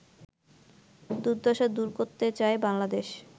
দুর্দশা দূর করতে চায় বাংলাদেশ